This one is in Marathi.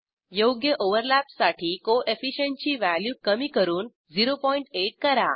योग्य ओव्हरलॅपसाठी कोएफिशियंट ची व्हॅल्यू कमी करून 08 करा